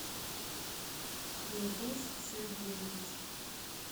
ильдус сергеевич